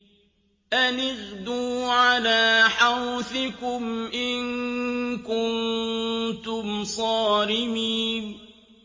أَنِ اغْدُوا عَلَىٰ حَرْثِكُمْ إِن كُنتُمْ صَارِمِينَ